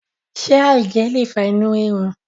ṣe aijẹ le fa inu rirun?